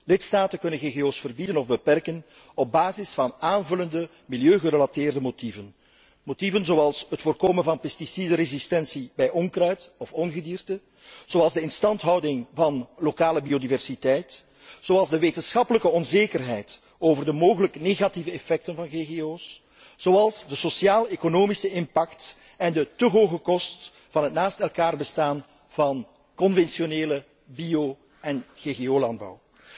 Lidstaten kunnen GGO's verbieden of beperken op basis van aanvullende milieugerelateerde motieven, zoals het voorkomen van pesticidenresistentie bij onkruid of ongedierte, zoals de instandhouding van lokale biodiversiteit, zoals de wetenschappelijke onzekerheid over de mogelijk negatieve effecten van GGO's, zoals de sociaal economische impact en de te hoge kost van het naast elkaar bestaan van conventionele bio en GGO landbouw.